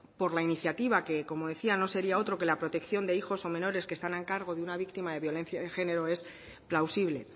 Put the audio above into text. por la iniciativa que como decía no sería otro que la protección de hijos o menores que están a cargo de una víctima de violencia de género es plausible